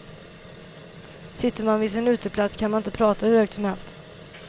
Sitter man vid sin uteplats kan man inte prata hur högt som helst.